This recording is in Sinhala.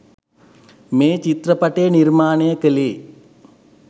මේ චිත්‍රපටය නිර්මාණය කළේ